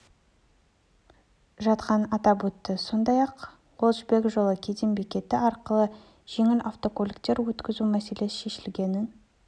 жатқанын атап өтті сондай-ақ ол жібек жолы кеден бекеті арқылы жеңіл автокөліктер өткізу мәселесі шешілгенін